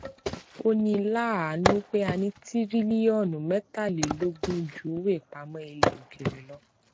ó ní láàánú pé a ná tírílíọnù mẹtàlélógún ju owó ìpamọ ilẹ òkèèrè lọ